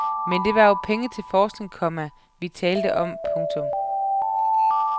Men det var jo penge til forskning, komma vi talte om. punktum